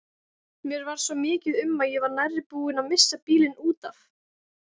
Mér varð svo mikið um að ég var nærri búin að missa bílinn út af.